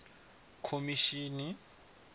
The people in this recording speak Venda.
khomishini